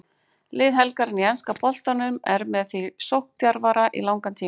Lið helgarinnar í enska boltanum er með því sókndjarfara í langan tíma.